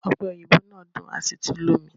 Ọpe oyinbo naa dun asi tun lomi